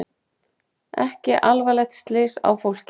Ekki alvarleg slys á fólki